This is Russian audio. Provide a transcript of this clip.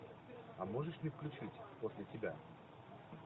а можешь мне включить после тебя